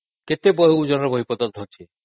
କେତେ ଓଜନର ବହିପତ୍ର ଧରୁଛନ୍ତି